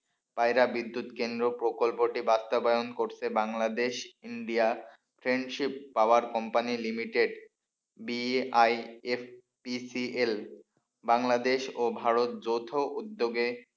পায়রা বিদ্যুৎ কেন্দ্র প্রকল্পটি বাস্তবায়ন করতে Bangladesh India friendship power company limited B I F P C L Bangladesh ও ভারত যৌথ উদ্যোগে,